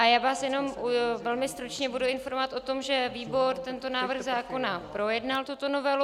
A já vás jenom velmi stručně budu informovat o tom, že výbor tento návrh zákona projednal, tuto novelu.